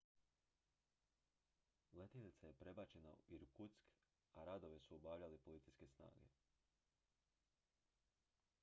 letjelica je prebačena u irkutsk a radove su obavljale policijske snage